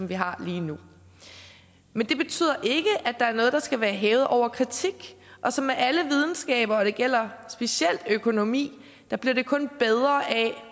vi har lige nu men det betyder ikke at der er noget der skal være hævet over kritik og som med alle videnskaber og det gælder specielt økonomi bliver det kun bedre af